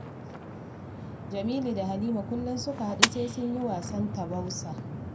Jamilu da Halima kullum suka haɗu sai sun yi wasan taubasai